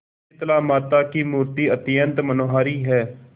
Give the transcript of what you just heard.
शीतलामाता की मूर्ति अत्यंत मनोहारी है